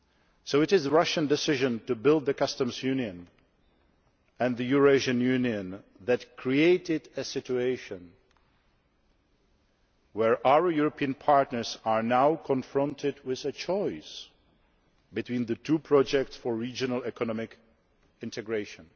So it has been the Russian decision to build the customs union and the Eurasian Union that has created a situation where our European partners now face a choice between the two projects for regional economic integration.